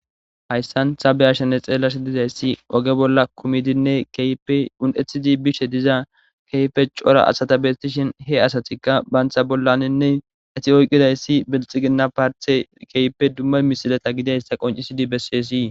hayssan sabe ashanne xeellash dizayssi oge bolla kumidinne keyeun7ethidi bishe diza keyfe cora ashata bestishin he asatikka baantha bollaninne eti oyqidayssi bilxiginna paarte keype dumma misilata gidayssa qoncisidi besseesii